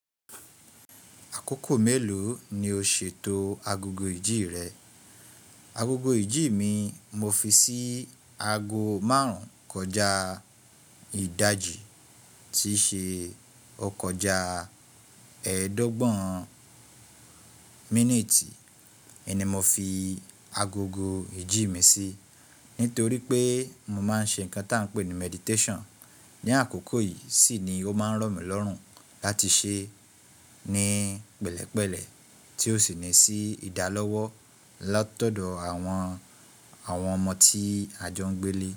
Àkókò mélòó ni o ṣètò agogo ìjì rẹ? Agogo ìjì mi, mo fi sí aago márùn-ún kọjá ìdájì tí ṣe o kọ̀ já ẹ̀ẹ́dọ́gbọ̀n míníìtì. Eni mo fi agogo ìjì mi sí nítorí pé mo máa ń ṣe nǹkan tí à ń pè ní meditation. Ni àkókò yìí sì ni ó máa ń ro mí lọ́rùn láti ṣe ní pẹ̀lẹ́pẹ̀lẹ́ tí ó sì ní sí ìdálọ́wọ́ látọ̀dọ̀ àwọn ọmọ tí a jọ ń gbé lé.